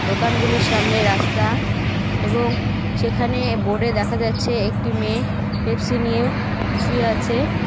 দোকানগুলির সামনে রাস্তা এবং সেখানে বোর্ডে দেখা যাচ্ছে একটি মেয়ে পেপসি নিয়ে শুয়ে আছে.